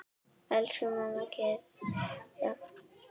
Elsku amma Gyða.